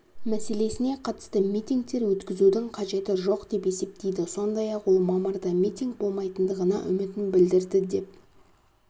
мәселесіне қатысты митингтер өткізудің қажеті жоқ деп есептейді сондай-ақ ол мамырда митинг болмайтындығына үмітін білдірді деп